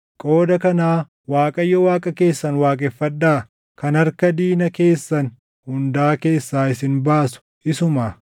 Qooda kanaa Waaqayyo Waaqa keessan waaqeffadhaa; kan harka diina keessan hundaa keessaa isin baasu isumaa.”